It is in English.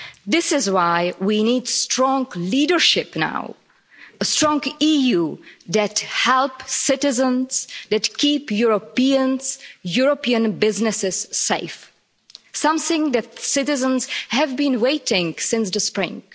This is why we need strong leadership now, a strong EU that helps citizens and keeps Europeans and European businesses safe something that citizens have been waiting for since the spring.